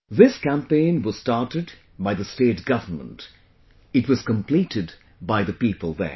This campaign was started by the state government; it was completed by the people there